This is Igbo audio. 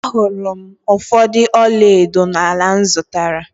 Ahụrụ m ụfọdụ ọla edo n’ala m zụtara